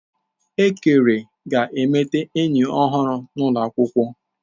Ekere ga-emeta enyi ọhụrụ n'ụlọ akwụkwọ.